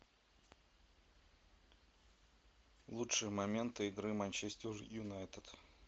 лучшие моменты игры манчестер юнайтед